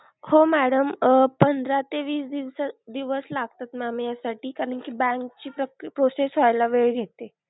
हो madam अह पंधरा ते वीस दिवसा दिवस लागतात mam याच्यासाठी करण की bank ची process होयला वेळ घेते.